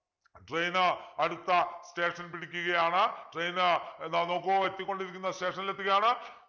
train അടുത്ത station പിടിക്കുകയാണ് train ഏതാ നോക്കൂ എത്തിക്കൊണ്ടിരിക്കുന്ന station ൽ എത്തുകയാണ്